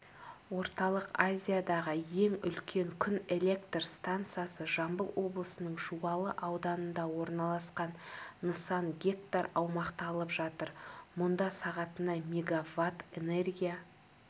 орталық азиядағы ең үлкен күн электр стансасы жамбыл облысының жуалы ауданында орналасқан нысан гектар аумақты алып жатыр мұнда сағатына мегаватт энергия